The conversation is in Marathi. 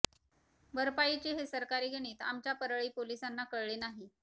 भरपाईचे हे सरकारी गणित आमच्या परळी पोलिसांना कळले नाही